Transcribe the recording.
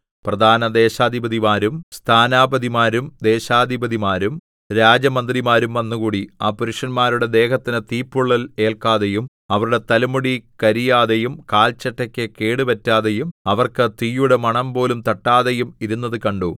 പ്രധാനദേശാധിപതിമാരും സ്ഥാനാപതിമാരും ദേശാധിപതിമാരും രാജമന്ത്രിമാരും വന്നുകൂടി ആ പുരുഷന്മാരുടെ ദേഹത്തിന് തീപ്പൊള്ളൽ ഏൽക്കാതെയും അവരുടെ തലമുടി കരിയാതെയും കാൽചട്ടയ്ക്ക് കേട് പറ്റാതെയും അവർക്ക് തീയുടെ മണംപോലും തട്ടാതെയും ഇരുന്നത് കണ്ടു